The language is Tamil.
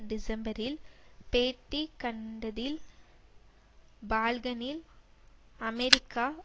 டிசம்பரில் பேட்டி கண்டதில் பால்கனில் அமெரிக்கா